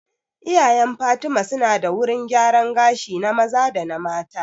Iyayen fatima su na da wurin gyaran gashi na maza da mata